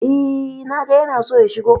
Eh, na ga ya na so ya shigo.